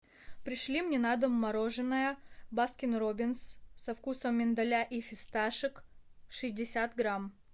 пришли мне на дом мороженое баскин роббинс со вкусом миндаля и фисташек шестьдесят грамм